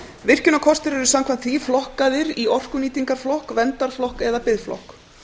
virkjunarkostir eru samkvæmt því flokkaðir í orkunýtingarflokk verndarflokk eða biðflokk